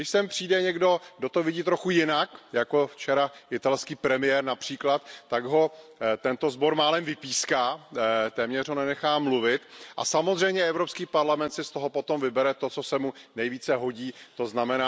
Když sem přijde někdo, kdo to vidí trochu jinak, jako včera například italský premiér, tak ho tento sbor málem vypíská, téměř ho nenechá mluvit a samozřejmě Evropský parlament si z toho potom vybere to, co se mu nejvíce hodí, tzn.